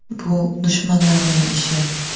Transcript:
Bu dushmanlarning ishi.